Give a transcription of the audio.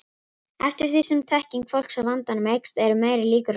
Eftir því sem þekking fólks á vandanum eykst eru meiri líkur á lausnum.